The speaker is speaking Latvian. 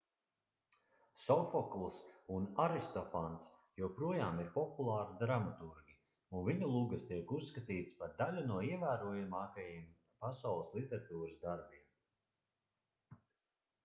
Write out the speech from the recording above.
sofokls un aristofans joprojām ir populāri dramaturgi un viņu lugas tiek uzskatītas par daļu no ievērojamākajiem pasaules literatūras darbiem